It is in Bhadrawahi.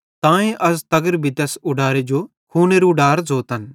तांए त अज़ तगर भी तैस उडारे जो खूनेरू उडार ज़ोतन